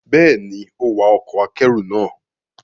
Bẹ́ẹ̀ ni, ó wa ọkọ̀ akẹ́rù náà